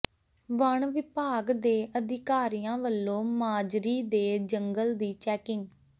ਵਣ ਵਿਭਾਗ ਦੇ ਅਧਿਕਾਰੀਆਂ ਵਲੋਂ ਮਾਜਰੀ ਦੇ ਜੰਗਲ ਦੀ ਚੈਕਿੰਗ